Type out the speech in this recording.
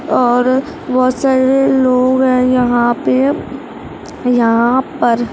और बहुत सारे लोग है यहाँ पे यहां पर।